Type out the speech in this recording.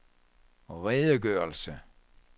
redegørelse